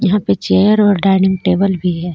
यहां पे चेयर और डाइनिंग टेबल भी है.